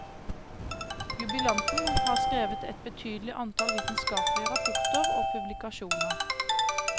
Jubilanten har skrevet et betydelig antall vitenskapelige rapporter og publikasjoner.